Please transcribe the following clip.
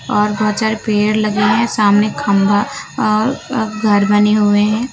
और दो चार पेड़ लगे हैं सामने खंबा और घर बने हुए हैं।